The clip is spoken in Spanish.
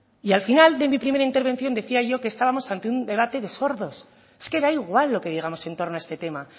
y al final de mi primera intervención decía yo que estábamos ante un debate de sordos es que da igual lo que digamos en torno a este tema